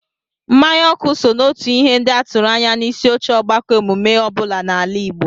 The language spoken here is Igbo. Mmanya ọkụ so n'otu ihe ndị a tụrụ anya n'isioche ọgbakọ emume ọ bụla n'ala Igbo